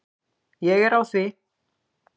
Ég er á því.